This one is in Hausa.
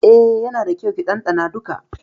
Eh, yana da kyau ki dandana duka.